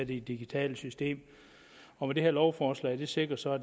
det digitale system og det her lovforslag sikrer så at